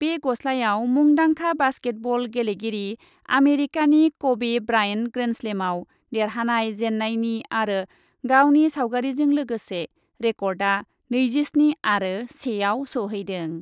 बे गस्लायाव मुंदांखा बास्केट बल गेलेगिरि आमेरिकानि कबे ब्रायन्ड ग्रेन्डस्लेमआव देरहानाय जेन्नायनि आरो गावनि सावगारिजों लोगोसे रेकर्डआ नैजिस्नि आरो सेआव सौहैदों।